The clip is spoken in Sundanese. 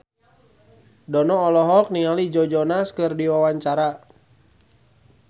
Dono olohok ningali Joe Jonas keur diwawancara